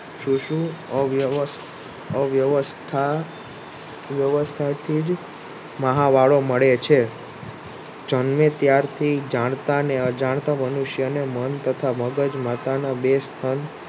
શિશુ અવ્યવથા વ્યવથા થી જ મહા વાળો મળે છે જન્મે ત્યારથી જાણતા ને અજંતા મનુષ્યને મન તથા મગજ માથા ના બે